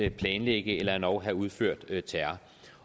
at planlægge eller endog have udført terror